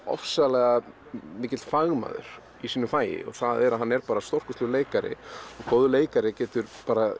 ofsalega mikill fagmaður hann er stórkostlegur leikari og góður leikari getur